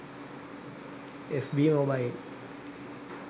fb mobile